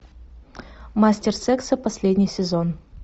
мастер секса последний сезон